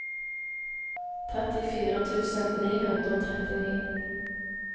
trettifire tusen ni hundre og trettini